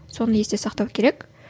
соны есте сақтау керек